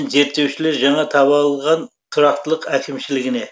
зерттеушілер жаңа табалған тұрақтылық әкімшілігіне